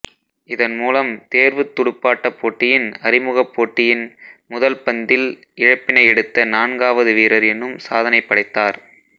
இதன்மூலம் தேர்வுத் துடுப்பாட்டப் போட்டியின் அறிமுகப் போட்டியின் முதல் பந்தில் இழப்பினை எடுத்த நான்காவது வீரர் எனும் சாதனை படைத்தார்